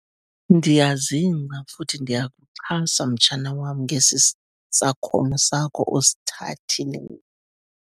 Ndiyazingca futhi ndiyakuxhasa, mtshana wam, ngesisakhono sakho osithathileyo.